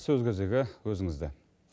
сөз кезегі өзіңізде